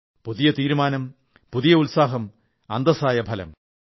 പുതിയ തീരുമാനം പുതിയ ഉത്സാഹം അന്തസ്സായ ഫലം